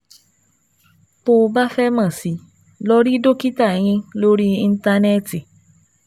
Tó o bá fẹ́ mọ̀ sí i, lọ rí dókítà eyín lórí Íńtánẹ́ẹ̀tì